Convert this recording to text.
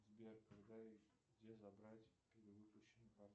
сбер когда и где забрать перевыпущенную карту